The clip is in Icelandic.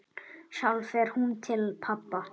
Sjálf fer hún til pabba.